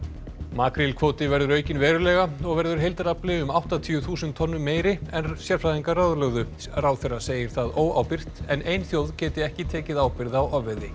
makrílkvóti verður aukinn verulega og verður heildarafli um áttatíu þúsund tonnum meiri en sérfræðingar ráðlögðu ráðherra segir það óábyrgt en ein þjóð geti ekki tekið ábyrgð á ofveiði